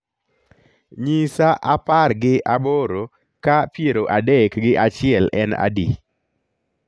nyisa apar gi aboro ka piero adek gi achiel en adi